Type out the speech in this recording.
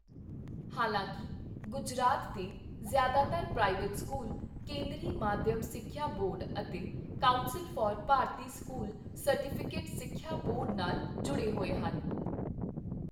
ਹਾਲਾਂਕਿ, ਗੁਜਰਾਤ ਦੇ ਜ਼ਿਆਦਾਤਰ ਪ੍ਰਾਈਵੇਟ ਸਕੂਲ ਕੇਂਦਰੀ ਮਾਧਿਅਮ ਸਿੱਖਿਆ ਬੋਰਡ ਅਤੇ ਕੌਂਸਲ ਫਾਰ ਭਾਰਤੀ ਸਕੂਲ ਸਰਟੀਫਿਕੇਟ ਸਿੱਖਿਆ ਬੋਰਡ ਨਾਲ ਜੁੜੇ ਹੋਏ ਹਨ।